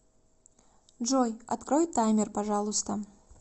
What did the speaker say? джой открой таймер пожалуйста